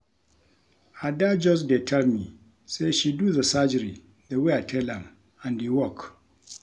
Ada just dey tell me say she do the surgery the way I tell am and e work.